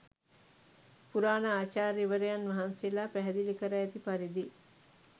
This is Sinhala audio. පුරාණ ආචාර්යවරයන් වහන්සේලා පැහැදිලි කර ඇති පරිදි